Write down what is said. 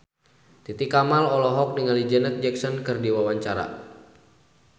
Titi Kamal olohok ningali Janet Jackson keur diwawancara